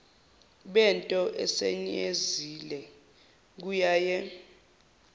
bento esiyenzile kuyaye